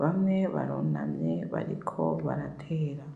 bamwe barunamye bariko baratera